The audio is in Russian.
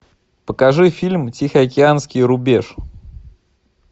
покажи фильм тихоокеанский рубеж